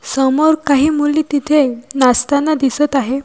समोर काही मुली तिथे नाचताना दिसत आहे.